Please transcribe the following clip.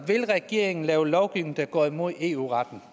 regeringen lave lovgivning der går imod eu retten